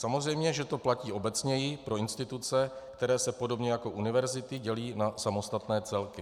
Samozřejmě, že to platí obecněji pro instituce, které se podobně jako univerzity dělí na samostatné celky.